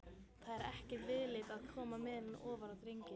Það er ekki viðlit að koma meðulum ofan í drenginn.